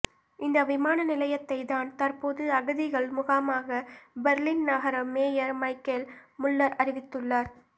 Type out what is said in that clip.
இந்த விமான நிலையத்தை தான் தற்போது அகதிகள் முகாமாக பெர்லின் நகர மேயர் மைக்கேல் முல்லர் அறிவித்துள்ளார்